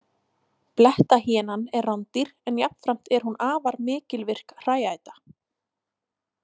Blettahýenan er rándýr en jafnframt er hún afar mikilvirk hrææta.